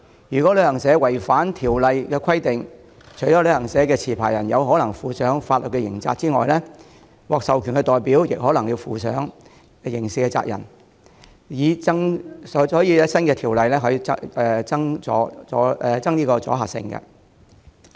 如旅行社違反新條例的規定，除旅行社持牌人有可能負上法律責任外，獲授權代表亦可能負上刑事責任，故新條例有助增強阻嚇性。